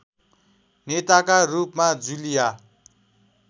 नेताका रूपमा जुलिया